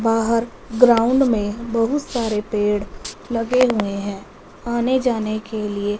बाहर ग्राउंड मे बहुत सारे पेड़ लगे हुए है आने जाने के लिए--